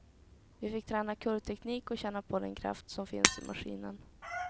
Vi fick träna kurvteknik och känna på den kraft som finns i maskinen.